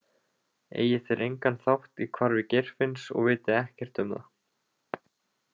Eigi þeir engan þátt í hvarfi Geirfinns og viti ekkert um það.